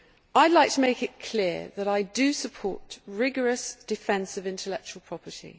I would like to make it clear that I do support rigorous, defensive intellectual property.